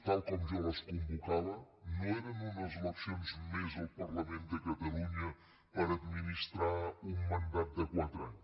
tal com jo les convocava no eren unes eleccions més al parlament de catalunya per administrar un mandat de quatre anys